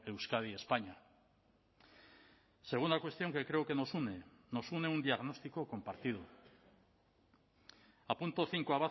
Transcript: euskadi españa segunda cuestión que creo que nos une nos une un diagnóstico compartido apunto cinco